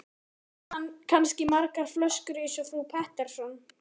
Þá eignast hann kannski margar flöskur eins og frú Pettersson.